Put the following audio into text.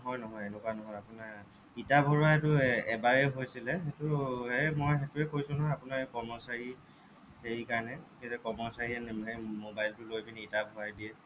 সেইটো নহয় নহয় এনেকুৱা নহয় আপোনাৰ ইটা ভৰোৱা সেইটো এৰ এবাৰে হৈছিলে সেইটো এৰ মই সেইটোৱে কৈছো নহয় আপোনাক কৰ্মচাৰী হেৰি কাৰণে এই যে কৰ্মচাৰী মবাইলটো লৈ কিনে ইটা ভৰাই দিয়ে